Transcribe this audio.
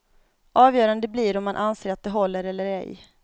Avgörande blir om man anser att de håller eller ej.